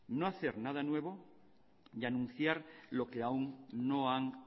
no hacer nada nuevo y anunciar lo que aún no han